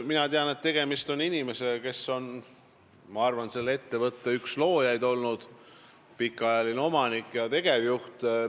Mina tean, et tegemist on inimesega, kes on olnud selle ettevõtte üks loojaid, pikaajaline omanik ja tegevjuht.